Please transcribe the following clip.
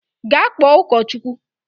Gaa kpọọ ụkọchukwu!